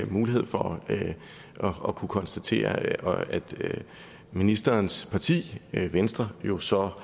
mulighed for at kunne konstatere at ministerens parti venstre jo så